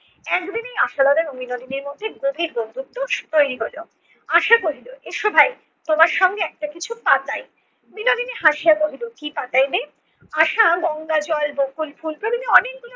একদিনেই আশালতা ও বিনোদিনীর মধ্যে গভীর বন্ধুত্ত্ব তৈরী হলো। আশা বলিল এসো ভাই তোমার সঙ্গে একটা কিছু পাতাই। বিনোদিনী হাসিয়া বলিল কি পাতাইবে? আশা গঙ্গাজল, বকুল ফুল বিভিন্ন অনেকগুলো